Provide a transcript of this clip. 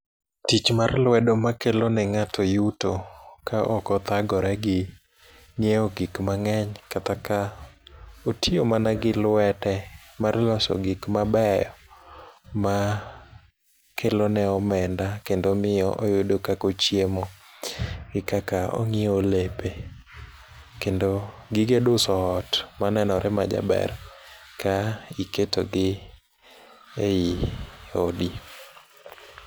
Tich mar lwedo makelo ne nga'to yuto kaoko dhagore gi nyieo gik mang'eny kata ka otiyo mana gi lwete mar loso gik mabeyo makelo ne omenda kendo miyo oyudo kaka ochiemo gi kaka onyieo lepe kendo gige duso ot monenore majaber ka iketogi ei odi.